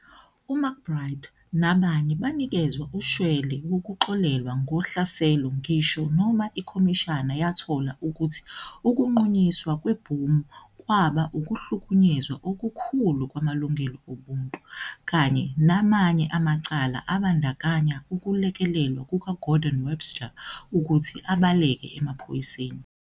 UMcBride nabanye banikezwa ushwele wokuxolelwa ngohlaselo ngisho noma ikhomishana yathola ukuthi ukuqhunyiswa kwebhomu kwaba"ukuhlukunyezwa okukhulu kwamalungelo obuntu", kanye namanye amacala abandakanya ukulekelelwa kukaGordon Webster ukuthi abaleke emaphoyiseni.